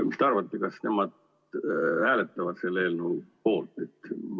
Mis te arvate, kas nemad hääletavad selle eelnõu poolt?